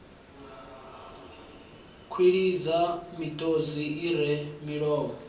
kwilidza miṱodzi i re milomo